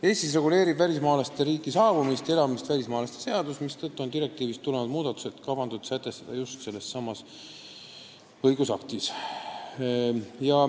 Eestis reguleerib välismaalaste riiki saabumist ja siin elamist välismaalaste seadus, mistõttu on direktiivist tulenevad muudatused kavandatud sätestada just selles õigusaktis.